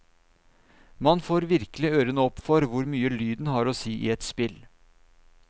Man får virkelig ørene opp for hvor mye lyden har å si i et spill.